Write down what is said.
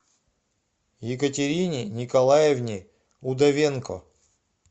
екатерине николаевне удовенко